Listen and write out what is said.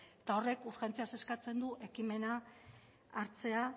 eta horrek urgentziaz eskatzen du